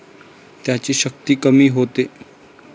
त्याची शक्ती कमी होते.